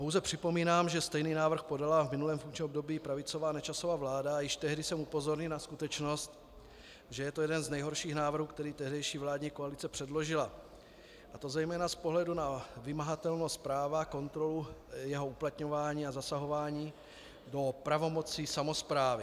Pouze připomínám, že stejný návrh podala v minulém funkčním období pravicová Nečasova vláda a již tehdy jsem upozornil na skutečnost, že je to jeden z nejhorších návrhů, které tehdejší vládní koalice předložila, a to zejména z pohledu na vymahatelnost práva, kontrolu jeho uplatňování a zasahování do pravomocí samosprávy.